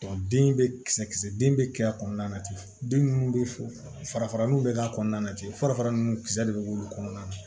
den bɛ kisɛ kisɛ den bɛ kɛ a kɔnɔna na ten den minnu bɛ fara nun bɛ k'a kɔnɔna na ten farafara ninnu kisɛ de bɛ k'olu kɔnɔna na